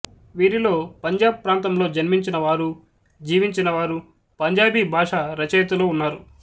వీరిలో పంజాబ్ ప్రాంతంలో జన్మించినవారూ జీవించినవారూ పంజాబీ భాష రచయితలు ఉన్నారు